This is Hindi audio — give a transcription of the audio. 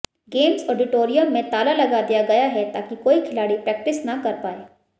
गेम्स ऑडिटोरियम में ताला लगा दिया गया है ताकि कोई खिलाड़ी प्रैक्टिस न कर पाए